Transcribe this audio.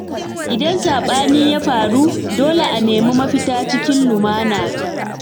Idan sabani ya faru, dole ne a nemi mafita cikin lumana.